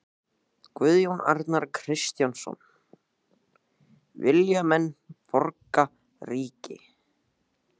Guðjón Arnar Kristjánsson: Vilja menn borgríki?